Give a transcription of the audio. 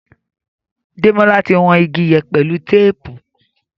Demola tí wón ìgi yén pẹlú téèpù.